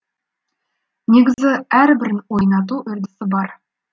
негізі әрбірін ойнату үрдісі бар